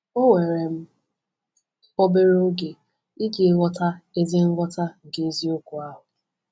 O were m obere oge iji ghọta ezi nghọta nke eziokwu ahụ.”